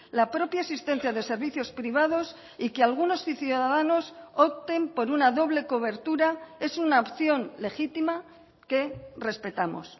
la propia existencia de servicios privados y que algunos ciudadanos opten por una doble cobertura es una opción legítima que respetamos